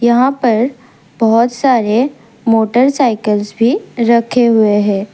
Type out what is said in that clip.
यहाँ पर बहुत सारे मोटर साइकिलस भी रखे हुए है।